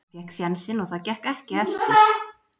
Hann fékk sénsinn og það gekk ekki eftir.